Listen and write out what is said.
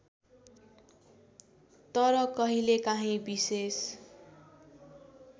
तर कहिलेकाँही विशेष